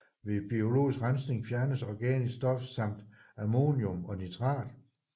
Ved biologisk rensning fjernes organisk stof samt ammonium og nitrat